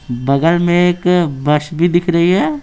बगल में एक बस भी दिख रही है।